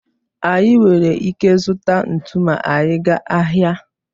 Anyị nwere ike zụta ntụ ma anyị gaa ahịa